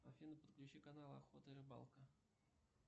афина подключи канал охота и рыбалка